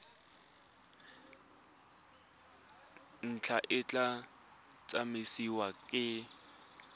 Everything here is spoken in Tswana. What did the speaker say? ntlha e tla tsamaisiwa ke